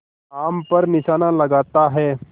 आम पर निशाना लगाता है